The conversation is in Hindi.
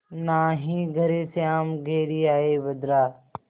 नाहीं घरे श्याम घेरि आये बदरा